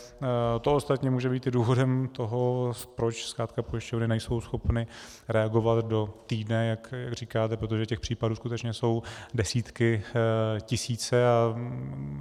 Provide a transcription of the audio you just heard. To ostatní může být i důvodem toho, proč zkrátka pojišťovny nejsou schopny reagovat do týdne, jak říkáte, protože těch případů skutečně jsou desítky, tisíce.